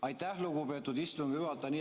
Aitäh, lugupeetud istungi juhataja!